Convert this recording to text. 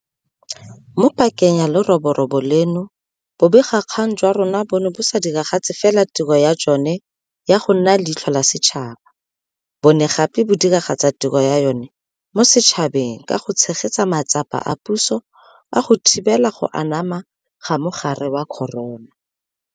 Mo pakeng ya leroborobo leno, bobegakgang jwa rona bo ne bo sa diragatse fela tiro ya jona ya go nna leitlho la setšhaba, bo ne gape go diragatsa tiro ya yona mo setšhabeng ka go tshegetsa matsapa a puso a go thibela go anama ga mogare wa corona.